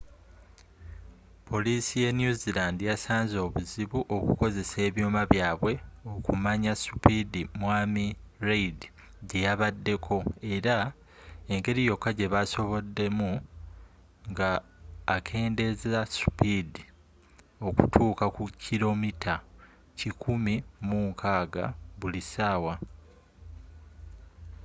polisii ye new zealand yasanzze obuzibu okukozesa ebyuma byabwe okumanyi supidi mwami reid gyeyabaddeko era engeri yoka gyebasoboddemu nga akendezezza supidi okutuka ku kilomita kikumi mu nkagga buli sawa